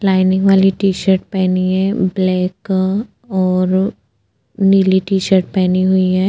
Lining वाली T shirt पेहनी है ब्लॅक और नीली टी शर्ट पेहनी हुई है।